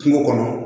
Kungo kɔnɔ